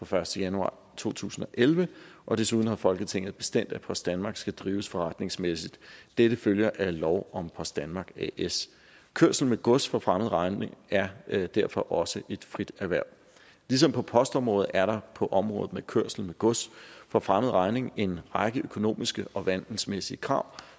første januar to tusind og elleve og desuden har folketinget bestemt at post danmark as skal drives forretningsmæssigt dette følger af lov om post danmark as kørsel med gods for fremmed regning er er derfor også et frit erhverv ligesom på postområdet er der på området med kørsel med gods for fremmed regning en række økonomiske og vandelsmæssige krav